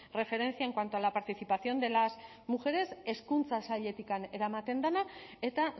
referencia en cuanto a la participación de las mujeres hezkuntza sailetik eramaten dena eta